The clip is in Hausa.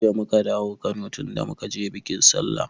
Jiya muka dawo Kano tunda muka je biƙin sallah